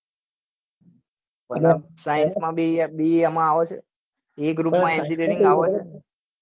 અને science માં બી એમાં આવે છે